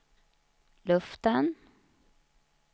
luften